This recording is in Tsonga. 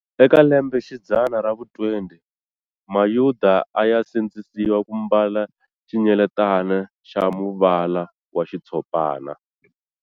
Eka lembe xidzana ra vu 20, mayuda aya sindzisiwa ku mbala xinyeletana xa muvala wa xitshopana.